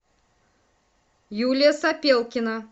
юлия сопелкина